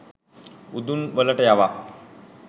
උදුන් වලට යවා